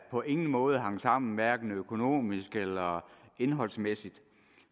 på ingen måde hang sammen hverken økonomisk eller indholdsmæssigt